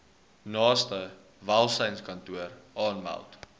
naaste welsynskantoor aanmeld